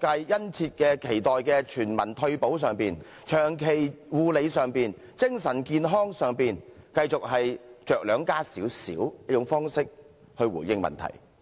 界殷切期待的全民退休保障、長期護理及精神健康上，是繼續以着量加些少的方式來回應問題。